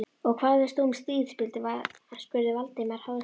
Og hvað veist þú um stríð? spurði Valdimar háðslega.